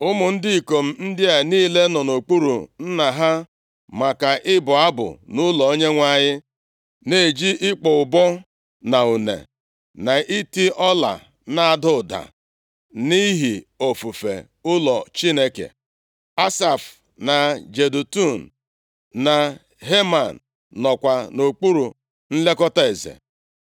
Ụmụ ndị ikom ndị a niile nọ nʼokpuru nna ha, maka ịbụ abụ nʼụlọ Onyenwe anyị na-eji ịkpọ ụbọ na une na iti ọla na-ada ụda, nʼihi ofufe ụlọ Chineke. Asaf, na Jedutun, na Heman nọkwa nʼokpuru nlekọta eze.